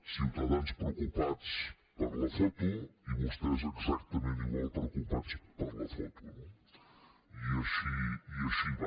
ciutadans preocupats per la foto i vostès exactament igual preocupats per la foto no i així va